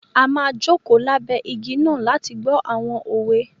A má joko labẹ igi náà láti gbọ awọn òwe